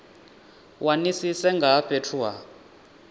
wanisise nga ha fhethu ha